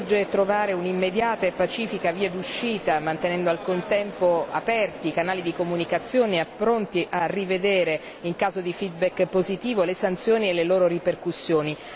Urge trovare un'immediata e pacifica via d'uscita, mantenendo al contempo aperti i canali di comunicazione pronti a rivedere, in caso di feedback positivo, le sanzioni e le loro ripercussioni.